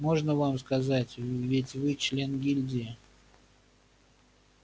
можно вам сказать ведь вы член гильдии